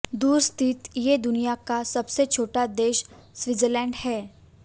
दूर स्थित ये दुनिया का सबसे छोटा देश सीलैंड है